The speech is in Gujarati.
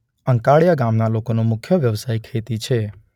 અંકાડીયા ગામના લોકોનો મુખ્ય વ્યવસાય ખેતી છે.